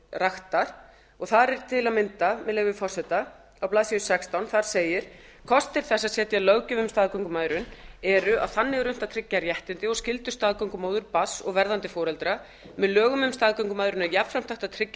raktir og þar er til að mynda með leyfi forseta á blaðsíðu sextán þar segir kostir þess að setja löggjöf um staðgöngumæðrun eru að þannig er unnt að tryggja réttindi og skyldur staðgöngumóður barns og verðandi foreldra með lögum um staðgöngumæðrun er jafnframt hægt að tryggja